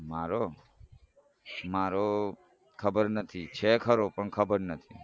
મારો મારો ખબર નથી છે ખરો પણ ખબર નથી